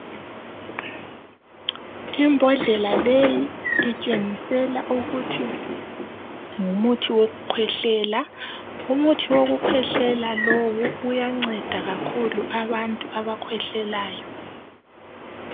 Imbodlela leyi itshengisela ukuthi ngumuthi wokukhwehlela umuthi wokukhwehlela lowu uyanceda kakhulu abantu abakhwehlelayo.